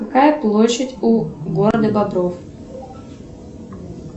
какая площадь у города бобров